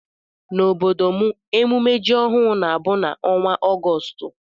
Na ọbọdọ mụ emume jị ọhụụ na abụ na ọnwa Augoostu.